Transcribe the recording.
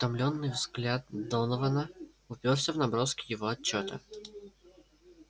утомлённый взгляд донована упёрся в наброски его отчёта